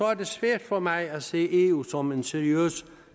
er det svært for mig for at se eu som en seriøs